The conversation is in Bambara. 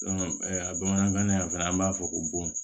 bamanankan in fɛnɛ an b'a fɔ ko bon